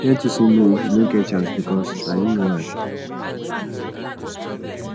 learn to say no if yu no get chance bikos na yu no why